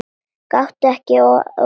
Gakktu ekki að opinu.